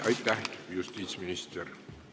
Aitäh, justiitsminister!